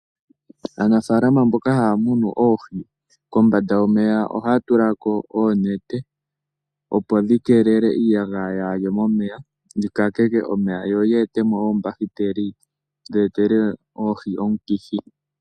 Aanafaalama mboka haya munu oohi. kombanda yomeya ohaya tula ko oonete opo dhikeelele iiyagaya yaa haye momeya yikakeke omeya yo yi etemo oombahiteli dhi etele oohi omikithi.